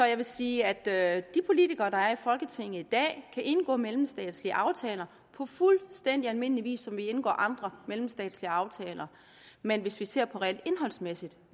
jeg vil sige at de politikere der er i folketinget i dag kan indgå mellemstatslige aftaler på fuldstændig almindelig vis ligesom vi indgår andre mellemstatslige aftaler men hvis vi ser på rent indholdsmæssigt